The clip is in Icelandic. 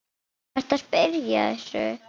Ertu að spyrja að þessu?